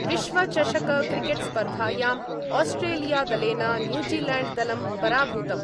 विश्वचषकक्रिकेट्स्पर्धायां आस्ट्रेलियादलेन न्यूजीलैण्ड्दलं पराभूतम्।